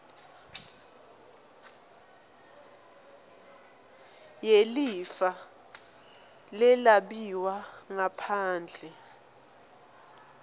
yelifa lelabiwa ngaphandle